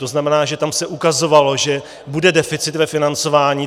To znamená, že tam se ukazovalo, že bude deficit ve financování.